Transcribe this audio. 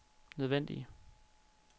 nødvendige